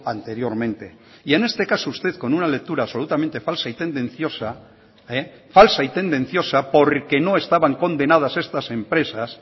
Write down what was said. anteriormente y en este caso usted con una lectura absolutamente falsa y tendenciosa falsa y tendenciosa porque no estaban condenadas estas empresas